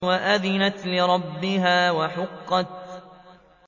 وَأَذِنَتْ لِرَبِّهَا وَحُقَّتْ